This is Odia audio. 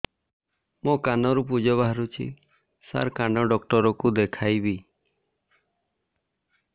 ମୋ କାନରୁ ପୁଜ ବାହାରୁଛି ସାର କାନ ଡକ୍ଟର କୁ ଦେଖାଇବି